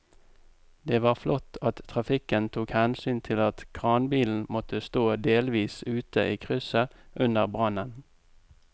Det var flott at trafikken tok hensyn til at kranbilen måtte stå delvis ute i krysset under brannen.